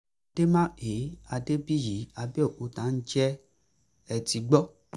dèmàkè adébíyí àbẹ̀òkúta ǹjẹ́ ẹ ti gbó